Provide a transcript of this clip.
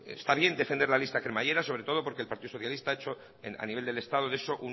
está bien defender la lista cremallera sobre todo porque el partido socialista ha hecho a nivel del estado de eso